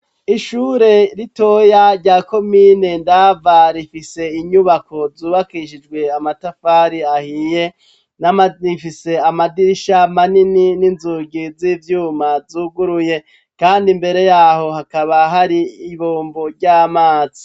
Ishure ritoya rya komine Ndava rifise inyubako zubakishijwe amatafari ahiye, rifise amadirisha manini n'inzugi z'ivyuma zuguruye kandi imbere yaho hakaba hari ibombo ry'amazi.